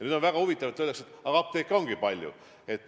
Nüüd on väga huvitav, et öeldakse, et aga apteeke ongi palju.